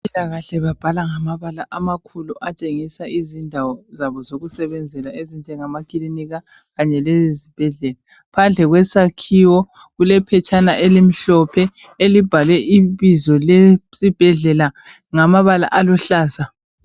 Abempilakahle babhala ngamabala amakhulu atshengisa izindawo zabo zokusebenzela ezinjengamakilinika kanye lezibhedlela phandle kwesakhiwo kulephetshana elimhlophe elibhalwe ibizo lesibhedlela ngamabala aluhlaza